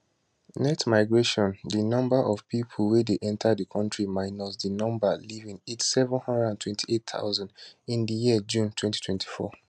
net migration di number of pipo wey dey enta di country minus di number leaving hit 728000 in di year to june 2024